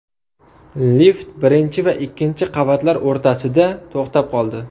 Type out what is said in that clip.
Lift birinchi va ikkinchi qavatlar o‘rtasida to‘xtab qoldi.